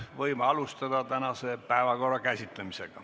Võime alustada tänase päevakorrapunkti käsitlemist.